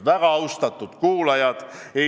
Väga austatud kuulajad!